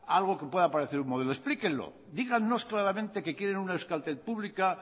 algo que pueda parecer un modelo explíquenlo díganos claramente que quieren una euskaltel pública